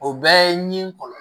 O bɛɛ ye ɲi kɔlɔn